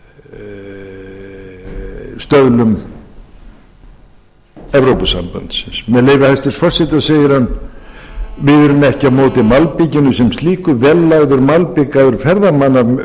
með leyfi hæstvirts forseta segir hann við erum ekki á móti malbikinu sem slíku vel lagður malbikaður ferðamannavegur